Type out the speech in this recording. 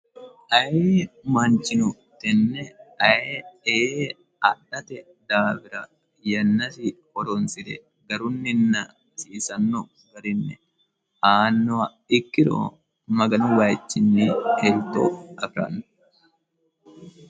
aye manchino tenne aye e adhate daawira yannasi horonsi're garunninna hasiisanno garinne aannoha ikkiro maganu wayichinni elto aqiranno